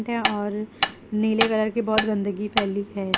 और नीले कलर की बहुत गंदगी फैली है।